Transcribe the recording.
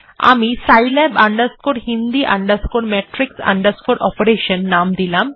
আমি scilab hindi matrix operation নাম দিলাম